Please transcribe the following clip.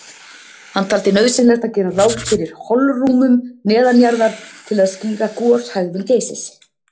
Hann taldi nauðsynlegt að gera ráð fyrir holrúmum neðanjarðar til að skýra goshegðun Geysis.